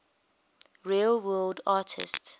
real world artists